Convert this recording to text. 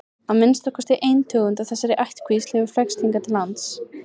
að minnsta kosti ein tegund af þessari ættkvísl hefur flækst hingað til lands